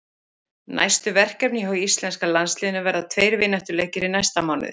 Næstu verkefni hjá íslenska landsliðinu verða tveir vináttuleikir í næsta mánuði.